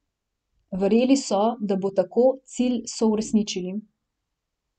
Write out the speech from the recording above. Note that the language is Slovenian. Verjeli so, da bo tako, cilj so uresničili.